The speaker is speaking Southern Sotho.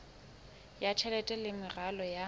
ya tjhelete le meralo ya